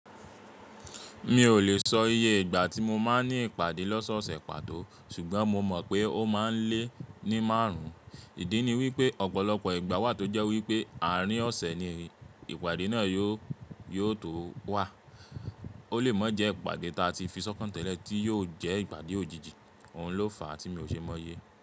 Mi ò lè sọ iye ìgbà tí mo máa ń ní ìpàdé lọ́sọ̀ọ̀sẹ̀ pàtó, ṣùgbọ́n mo mọ̀ pé ó máa ń lé ní márùn ún. Ìdí ni wípé ọ̀pọ̀lọpọ̀ ìgbà wà tó jẹ́ wípé àárín ọ̀sẹ̀ ni ìpàdé náà yóò tó wà. Ó lè mọ́ jẹ ìpàdé ta ti fi sọ́kàn tẹ́lẹ̀ tí yóò jẹ́ ìpàdé òjijì, òun ló fàá tí mi ò ṣe mọ ye.